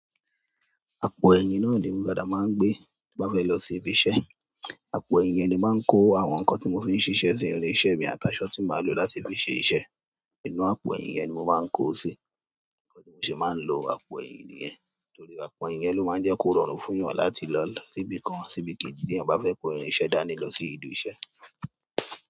Àpò ẹyin náà ni èmi padà maa n gbé ti n bá fẹ lọ si ìbi iṣẹ́. Àpò ẹyin yẹn ni emi maa n kò àwọn nǹkan ti mo fi ṣiṣẹ si, irin iṣẹ́ mi àti aṣọ ti máa lò láti fí ṣe iṣe, inú àpò ẹyin yẹn ni mo máa ko si, bi mo se máa n ló àpò ẹyin niyen torí àpò ẹyin yẹn lo maa n jẹ kó rọrùn fún ìyàn láti lo si ibi kan àti ibi keeji, ti iyan ba fẹ kó irin iṣẹ́ dání lọ sí ibi iṣẹ́.